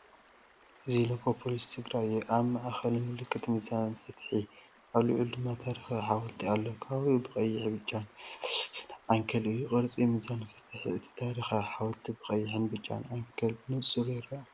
እዚ ሎጎ ፖሊስ ትግራይ እዩ። ኣብ ማእከል ምልክት ሚዛን ፍትሒ፡ ኣብ ልዕሊኡ ድማ ታሪኻዊ ሓወልቲ ኣሎ። ከባቢኡ ብቐይሕን ብጫን ዝተሸፈነ ዓንኬል እዩ። ቅርፂ ሚዛን ፍትሕን እቲ ታሪኻዊ ሓወልቲን ብቀይሕን ብጫን ዓንኬል ብንፁር ይርአ።